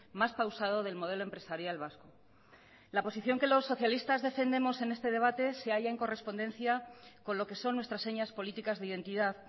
más pausado del modelo empresarial vasco la posición que los socialistas defendemos en este debate se halla en correspondencia con lo que son nuestras señas políticas de identidad